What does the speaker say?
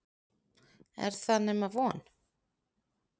Er það nema von?